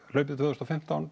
hlaupið tvö þúsund og fimmtán